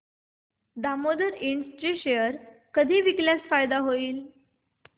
Damodar Ind चे share कधी विकल्यास फायदा होईल